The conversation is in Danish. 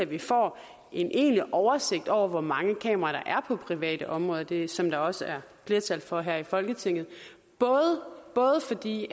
vi får en egentlig oversigt over hvor mange kameraer der er på privat område det er det som der også flertal for her i folketinget både fordi